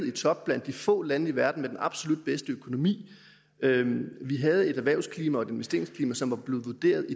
i top blandt de få lande i verden med den absolut bedste økonomi vi havde et erhvervsklima og et investeringsklima som var blevet vurderet